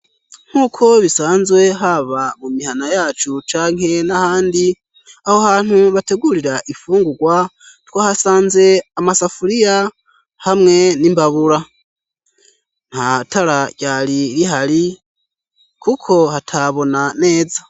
Nk'uko bisanzwe haba mu mihana yacu canke n'ahandi aho hantu bategurira ifungurwa twa hasanze amasafuriya hamwe n'imbabura nta tararyari ri hari, kuko hatabona neza.